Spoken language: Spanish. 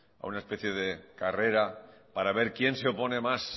a una especie de carrera para ver quién se opone más